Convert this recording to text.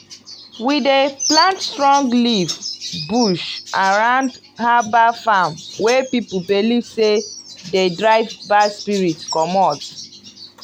i dey mix moringa leaf with palm ash and water when i wan re-plant.